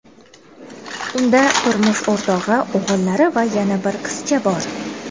Unda turmush o‘rtog‘i, o‘g‘illari va yana bir qizcha bor.